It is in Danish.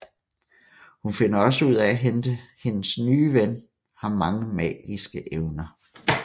Hun finder også ud af at hendes nye ven har mange magiske evner